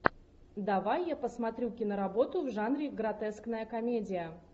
давай я посмотрю киноработу в жанре гротескная комедия